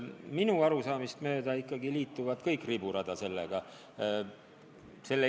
Minu arusaamist mööda ikkagi liituvad kõik riburada sellega.